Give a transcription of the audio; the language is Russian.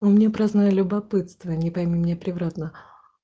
у меня праздное любопытство не пойми меня превратно